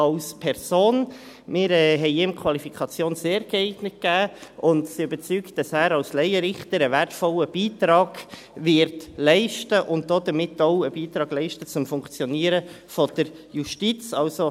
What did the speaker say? Wir haben ihm die Qualifikation «sehr geeignet» gegeben und sind überzeugt, dass er als Laienrichter einen wertvollen Beitrag leisten wird und damit auch einen Beitrag zum Funktionieren der Justiz leisten wird.